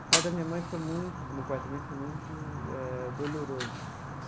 O parto da minha mãe foi muito, do meu parto também foi muito eh doloroso.